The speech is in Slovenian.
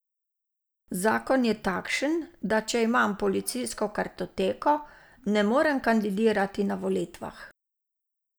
Zakon je takšen, da če imam policijsko kartoteko, ne morem kandidirati na volitvah.